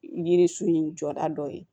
Yiririso in jɔda dɔ ye